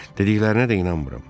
Dediklərinə də inanmıram.